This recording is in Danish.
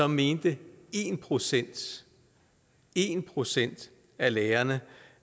mente en procent en procent af lærerne